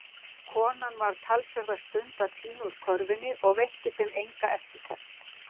Konan var talsverða stund að tína úr körfunni og veitti þeim enga eftirtekt.